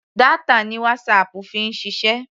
Data ni WhatsApp fi ń ṣiṣẹ́.